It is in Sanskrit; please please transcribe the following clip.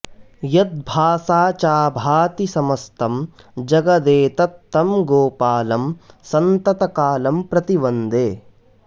यद्भासा चाभाति समस्तं जगदेतत् तं गोपालं सन्ततकालं प्रति वन्दे